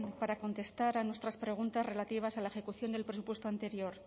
para contestar a nuestras preguntas relativas a la ejecución del presupuesto anterior